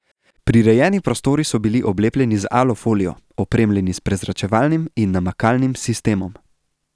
Prirejeni prostori so bili oblepljeni z alufolijo, opremljeni s prezračevalnim in namakalnim sistemom.